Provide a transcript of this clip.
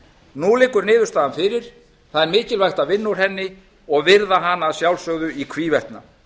nú liggur niðurstaðan fyrir það er mikilvægt að vinna úr henni og virða hana að sjálfsögðu í hvívetna